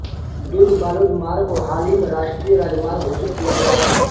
दुर्गबालोद मार्ग को हाल ही में राष्ट्रीय राजमार्ग घोषित किया गया हैं